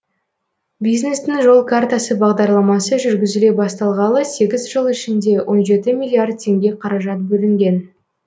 бизнестің жол картасы бағдарламасы жүргізіле бастағалы сегіз жыл ішінде он жеті миллиард теңге қаражат бөлінген